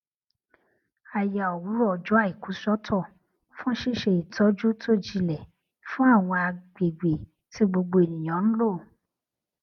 a ya òwúrò ọjọ àìkú sótò fún ṣíṣe ìtọjú tó jilẹ fún àwọn àgbègbè tí gbogbo ènìyàn ń lò